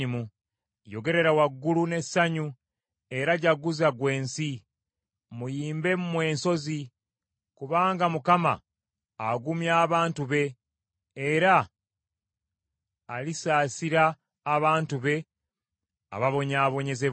Yogerera waggulu n’essanyu, era jjaguza ggwe ensi. Muyimbe mmwe ensozi! Kubanga Mukama agumya abantu be era alisaasira abantu be ababonyaabonyezebwa.